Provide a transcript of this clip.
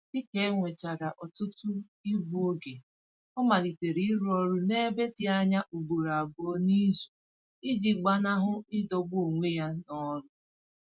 Dịka enwechara ọtụtụ igbu oge, ọ malitere ịrụ ọrụ n'ebe dị anya ugboro abụọ n'izu iji gbanahụ idọgbu onwe ya n'ọlụ